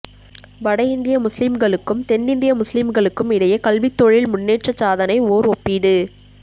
வட இந்திய முஸ்லிம்களுக்கும் தென் இந்திய முஸ்லிம்களுக்கும் இடையே கல்வி தொழில் முன்னேற்ற சாதனை ஓர் ஒப்பீடு